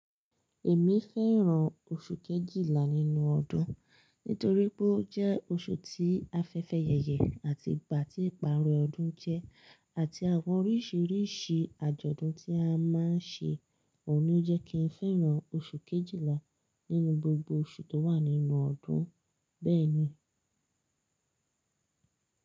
Èmi fẹ́ràn oṣù Kejìlá nínú ọdún, nítorí pé ó jẹ́ oṣù tí afẹ́fẹ́ yẹyẹ àti ìgbà tí ìparí ọdún jẹ́, àti àwọn oríṣìíríṣìí àjọ̀dún tí a máa ń ṣe. Òun ló jẹ́ kí n fẹ́ràn oṣù Kejìlá nínú gbogbo oṣù tó wà nínú ọdún. Bẹ́ẹ̀ ni.